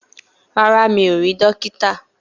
Rárá, mi ò rí dókítà